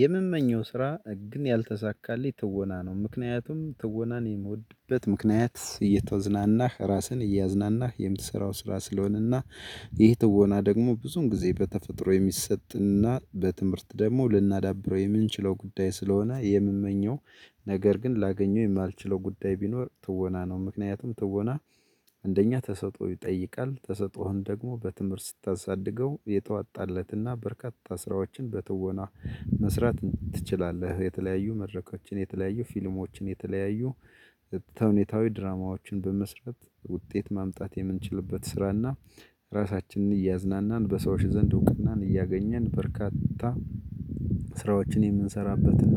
የምመኘው ስራ ግን ያልተሳካለት ትወና ነው ምክንያቱም ትወናን የምወድበት ምክንያት እየተወዝናናህ ራስህን እያዝናናህ የምትሰራው ስራ ስለሆነና። ይህ ትወና ደግሞ ብዙን ጊዜ በተፈጥሮ የሚሰጥና በትምህርት ደግሞ ልናዳብረው የምንችለው ጉዳይ ስለሆነ የምመኘው። ነገር ግን ላገኘው የማልችለው ጉዳይ ቢኖር ትወና ነው። ምክንያቱም ትወና። እንደኛ ተሰጥኦ ይጠይቃል ተሰጦህን ደግሞ በትምህርት ስታሳድገው የተዋጣለትና በርካታ ስራዎችን በተወና መስራት ትችላለህ። የተለያዩ መድረኮችን የተለያዩ ፊልሞችን የተለያዩ ተውኔታዊ ድራማዎችን በመስራት ውጤት ማምጣት የምንችልበት ስራና። ራሳችንን እያዝናናን በሰዎች ዘንድ እውቅናን እያገኘን በርካታ ስራዎችን የምንሰራበትና